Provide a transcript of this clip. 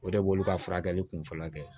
O de b'olu ka furakɛli kunfɔlɔ kɛ